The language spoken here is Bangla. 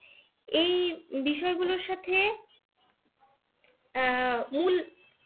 এই বিষয়গুলোর সাথে আহ মূল